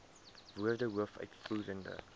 woorde hoof uitvoerende